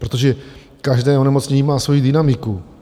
Protože každé onemocnění má svoji dynamiku.